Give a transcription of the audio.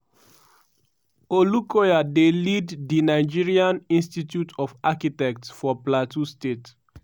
olukoya dey lead di nigerian institute of architects for plateau state.